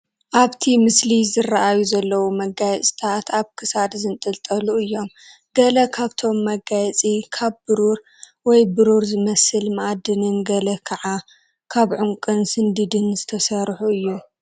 ኣብቲ ምስሊ ዝረኣዩ ዘለዉ መጋየፅታት ኣብ ክሳድ ዝንጥልጠሉ እዮም፡፡ ገለ ካብቶም መጋየፂ ካብ ብሩር ወይ ብሩር ዝመስል መኣድንን ገለ ከዓ ካብ ዑንቅን ስንዲድን ዝተሰርሑ እዩም፡፡